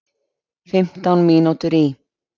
Fimmtán mínútur í